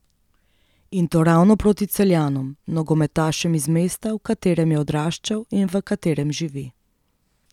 In to ravno proti Celjanom, nogometašem iz mesta, v katerem je odraščal in v katerem živi.